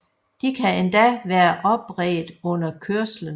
De kan endda være opredt under kørslen